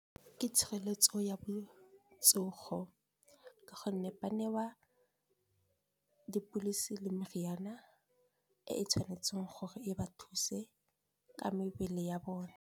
Ke tshireletso ya botsogo ka gonne, ba newa dipilisi le meriana e e tshwanetseng gore e ba thuse ka mebele ya bone.